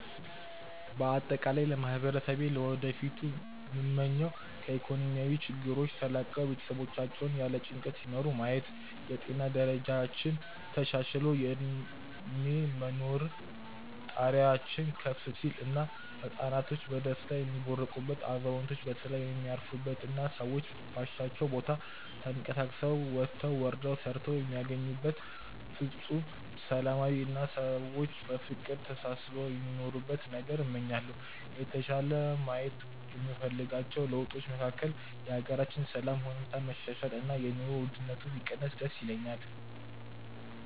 በአጠቃላይ ለማህበረሰቤ ለወደፊቱ ምመኘው ከኢኮኖሚያዊ ችግሮች ተላቀው ቤተሰቦቻቸውን ያለ ጭንቀት ሲመሩ ማየት፣ የጤና ደረጃችን ተሻሽሎ የእድሜ የመኖር ጣሪያችን ከፍ ሲል እና ህፃናቶች በደስታ የሚቦርቁበት፣ አዛውንቶች በሰላም የሚያርፉበት እና ሰዎች ባሻቸው ቦታ ተንቀሳቅሰው ወጥተው ወርደው ሰርተው የሚያገኙበት ፍፁም ሰላማዊ አና ሰዎች በፍቅር ተሳስበው የሚኖሩበትን ነገን እመኛለሁ። የተሻለ ማየት የምፈልጋቸው ለውጦች መካከል የሀገራችንን የሰላም ሁኔታ መሻሻል እና የኑሮ ውድነቱ ቢቀንስ ደስ ይለኛል።